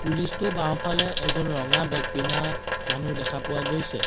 পুলিচটো বাওঁফালে এজন ৰঙা বেগ পিন্ধা মানুহ দেখা পোৱা গৈছে।